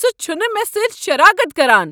سہ چھُنہٕ مےٚ سۭتۍ شراکت کران۔